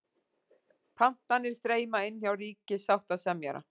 Pantanir streyma inn hjá ríkissáttasemjara